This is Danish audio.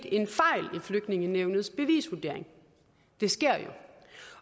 flygtningenævnets bevisvurdering det sker jo